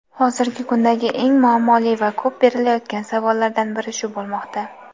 Hozirgi kundagi eng muammoli va ko‘p berilayotgan savollardan biri shu bo‘lmoqda.